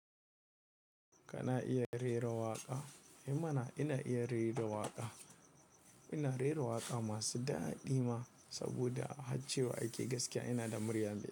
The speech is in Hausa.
Kana iya rera waƙa? Ehma ina iya rera waƙa. Ina rera waƙa masu daɗi ma saboda a haccewa ake gaskiya ina da murya miƙa.